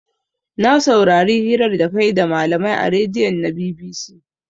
Na saurari hirar da kayi da malamai a radion na BBC